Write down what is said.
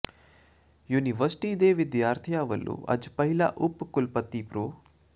university ਦੇ ਵਿਦਿਆਰਥੀਆਂ ਵੱਲੋਂ ਅੱਜ ਪਹਿਲਾਂ ਉਪ ਕੁਲਪਤੀ ਪ੍ਰੋ